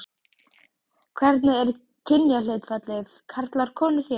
Magnús: Hvernig er kynjahlutfallið karlar konur hér?